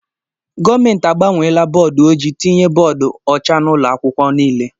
Gọọmenti agbanweela bọọdu ojii tinye bọọdu ọcha n'ụlọ akwụkwọ nile.